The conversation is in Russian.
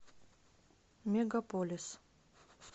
мегаполис